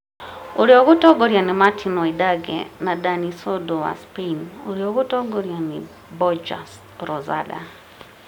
ũrĩa ũgũtongorio nĩ Martijn Wydaeghe na Dani Sordo wa Spain ũrĩa ũgũtongorio nĩ Borja Rozada.